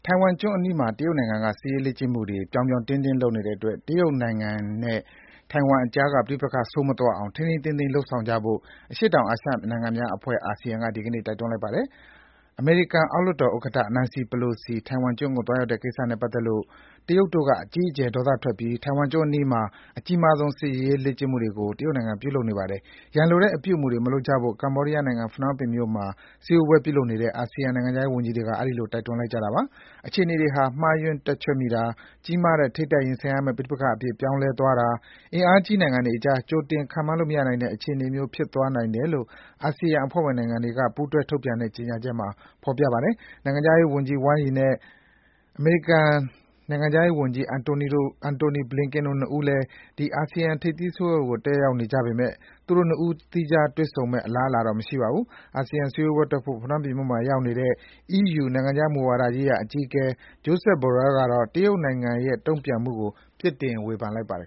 ိုင်ဝမ်ကျွန်းအနီးမှာ တရုတ်နိုင်ငံက ပြောင်ပြောင်တင်းတင်း စစ်ရေးလေ့ကျင့်နေတဲ့အတွက် တရုတ်နဲ့ ထိုင်ဝမ်ကြားက ပဋိပက္ခ ပိုဆိုးမသွားအောင် ထိန်းထိန်းသိမ်းသိမ်း လုပ်ဆောင်ကြဖို့ အရှေ့တောင်အာရှနိုင်ငံများအဖွဲ့ အာဆီယံက ဒီကနေ့ တိုက်တွန်းလိုက်ပါတယ်။ အမေရိကန်အောက်လွှတ်တော်ဥက္ကဋ္ဌ Nancy Pelosi ထိုင်ဝမ်ကျွန်းကို သွားရောက်တဲ့ကိစ္စနဲ့ပတ်သက်လို့ တရုတ်တို့က အကြီးအကျယ် ဒေါသထွက်ပြီး ထိုင်ဝမ်ကျွန်းအနီးမှာ အကြီးမားဆုံး စစ်ရေးလေ့ကျင့်မှုကို တရုတ်နိုင်ငံက ပြုလုပ်နေတာပါ။ ရန်လိုတဲ့အပြုအမူတွေမလုပ်ကြဖို့ ကမ္ဘောဒီးယားနိုင်ငံ၊ ဖနွမ်းပင်မြို့မှာ စည်းဝေးပွဲပြုလုပ်နေတဲ့ အာဆီယံနိုင်ငံခြားရေးဝန်ကြီးတွေက အဲဒီလို တိုက်တွန်းလိုက်ကြတာပါ။ အခြေအနေတွေဟာ မှားယွင်းတွက်ချက်မိတာ၊ ကြီးမားတဲ့ ထိပ်တိုက်ရင်ဆိုင်မယ့် ပဋိပက္ခအဖြစ် ပြောင်းလဲသွားတာ၊ အင်အားကြီးနိုင်ငံတွေကြား ကြိုတင် ခန့်မှန်းလို့ မရနိုင်တဲ့အခြေအနေမျိုး ဖြစ်သွားနိုင်တယ်လို့ အာဆီယံအဖွဲ့ဝင်နိုင်ငံတွေက ပူးတွဲ ထုတ်ပြန်တဲ့ ဒီနေ့ ကြေညာချက်မှာ ဖော်ပြထားပါတယ်။ တရုတ်နိုင်ငံခြားရေးဝန်ကြီး ဝမ်းယီနဲ့ အမေရိကန်နိုင်ငံခြားရေးဝန်ကြီး Antony Blinken တို့ ၂ ဦးလည်း ဒီ အာဆီယံ ထိပ်သီးစည်းဝေးပွဲကို တက်ရောက်နေကြပေမယ့် သူတို့ ၂ ဦးတည်း သီးခြားတွေ့ဆုံမယ့် အလားအလာတော့ မရှိပါဘူး။ အာဆီယံထိပ်သီးစည်းဝေးပွဲတက်ဖို့ ဖနွမ်းပင်မြို့မှာရောက်နေတဲ့ အီးယူ နိုင်ငံခြားမူဝါဒရေးရာအကြီးအကဲ Joseph Borrell ကတော့ တရုတ်နိုင်ငံရဲ့ တုံ့ပြန်မှုကို ပြစ်တင် ဝေဖန်လိုက်ပါတယ်